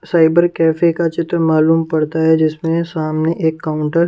cyber cafe का चित्र मालूम पड़ता है जिसमें सामने एक काउंटर --